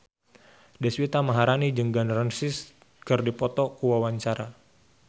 Deswita Maharani jeung Gun N Roses keur dipoto ku wartawan